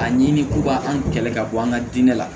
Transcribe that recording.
A ɲini k'u ka an kɛlɛ ka bɔ an ka diinɛ la